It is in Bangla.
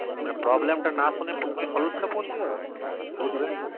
মানে problem টা না সুনে সোজা solution এর দিকে চলে যাবে বা goodway